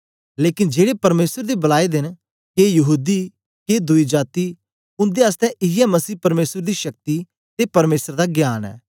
लेकन जेड़े परमेसर दे बलाए दे न के यहूदी के दुई जाती उन्दे आसतै इयै मसीह परमेसर दी शक्ति ते परमेसर दा ज्ञान ऐ